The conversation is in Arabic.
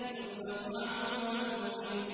يُؤْفَكُ عَنْهُ مَنْ أُفِكَ